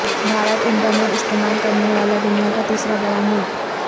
Bharat internet استعمال کرنے والا دنیا کا تیسرا بڑا ملک